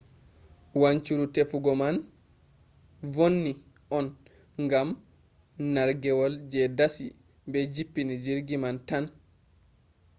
wanchuru tefugo man vonni on gam nargewol je dasi be jippini jirgi man tan